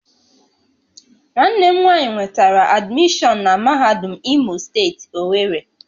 Nwanne m nwanyi nwetara admishọon na mahadum Imo steeti, Owerri